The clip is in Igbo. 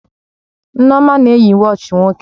Nneoma na-eyi wọọchi nwoke